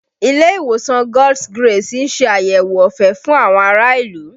Ilé ìwòsàn God's grace ń ṣe àyẹ̀wò ọ̀fẹ́ fún àwọn ará ìlú